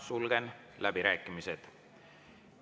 Sulgen läbirääkimised.